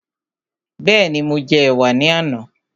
Bẹ́ẹ̀ni, mo jẹ ẹ̀wà ní àná